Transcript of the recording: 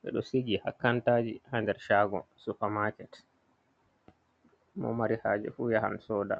ɓeɗo sigi ha kantaji ha nder shago supermarket mo mari haje fu yahan soda.